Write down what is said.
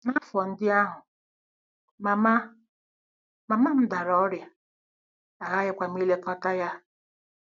N'afọ ndị ahụ, mama, mama m dara ọrịa, aghaghịkwa m ilekọta ya.